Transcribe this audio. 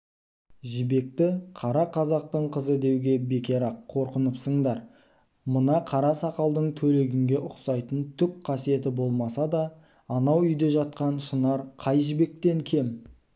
жібекті қара қазақтың қызы деуге бекер-ақ қорыныпсыңдар мына қара сақалдың төлегенге ұқсайтын түк қасиеті болмаса да анау үйде жатқан шынар қай жібектен кем